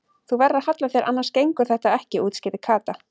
Þú verður að halla þér annars gengur þetta ekki útskýrði Kata.